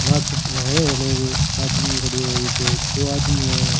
नाछे नहाव है लोग आदमी खड़ो है एक दो आदमी है।